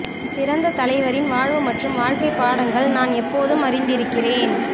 சிறந்த தலைவரின் வாழ்வு மற்றும் வாழ்க்கை பாடங்கள் நான் எப்போதும் அறிந்திருக்கிறேன்